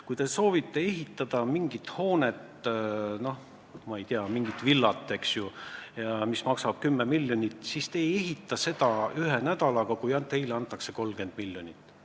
Kui te soovite ehitada mingit hoonet, ma ei tea, mingit villat, mis maksab 10 miljonit, siis te ei ehita seda ühe nädalaga ka siis, kui teile antakse 30 miljonit.